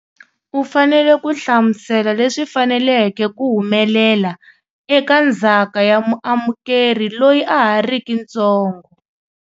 U fanele ku hlamusela le swi faneleke ku humelela eka ndzhaka ya muamu keri loyi a ha riki ntsongo.